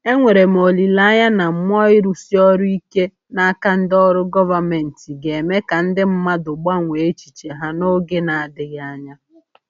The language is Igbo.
Enwere m olile anya na mmụọ ịrụsi ọrụ ike n’aka ndị ọrụ gọvanmentị ga-eme ka ndị mmadụ gbanwee echiche ha n’oge na-adịghị anya.